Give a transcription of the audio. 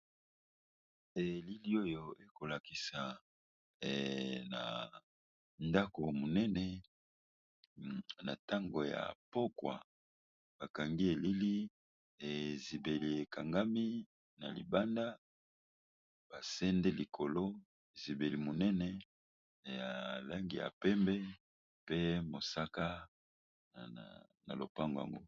Elili oyo ekolakisa na ndako monene na ntango ya pokwa ba kangi elili, ezibeli ekangami na libanda ba sende likolo ezibeli monene ya langi ya pembe pe mosaka na lopango yango.